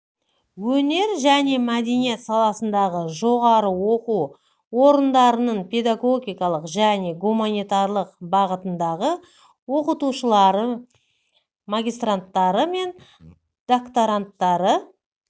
өнер мен мәдениет саласындағы жоғары оқу орындарының педагогикалық және гуманитарлық бағытындағы оқытушылары магистранттары мен докторанттары